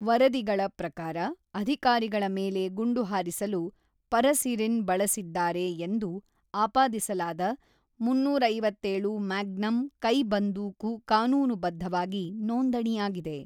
ವರದಿಗಳ ಪ್ರಕಾರ, ಅಧಿಕಾರಿಗಳ ಮೇಲೆ ಗುಂಡು ಹಾರಿಸಲು ಪರಸಿರಿನ್ ಬಳಸಿದ್ದಾರೆ ಎಂದು ಆಪಾದಿಸಲಾದ ಮೂನ್ನೂರ ಐವತ್ತೇಳು -ಮ್ಯಾಗ್ನಮ್ ಕೈಬಂದೂಕು ಕಾನೂನುಬದ್ಧವಾಗಿ ನೋಂದಣಿಯಾಗಿದೆ.